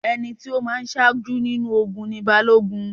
Ẹni tí ó má a ń sájú nínú ogun ni Balógun